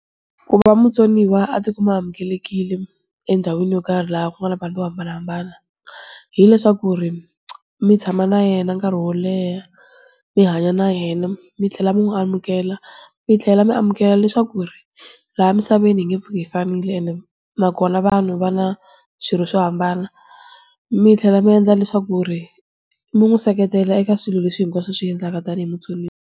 Ku va mutsoniwa a ti kuma amukelekile, endhawini yo karhi laha ku nga na vanhu vo hambanahambana. Hileswaku ri, mi tshama na yena nkarhi wo leha, mi hanya na yena, mi tlhela mi n'wi amukela, mi tlhela mi amukela leswaku ri, laha misaveni hi nge pfuki hi fanile ende nakona vanhu va na, swirho swo hambana. Mi tlhela mi endla leswaku ku ri, mi n'wi seketela eka swilo leswi hinkwaswo a swi endlaka tanihi mutsoniwa.